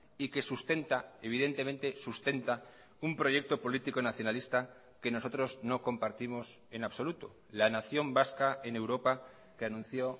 y que sustenta evidentemente sustenta un proyecto político nacionalista que nosotros no compartimos en absoluto la nación vasca en europa que anunció